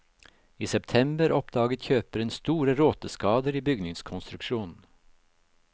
I september oppdaget kjøperen store råteskader i bygningskonstruksjonen.